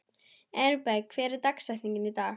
Elberg, hver er dagsetningin í dag?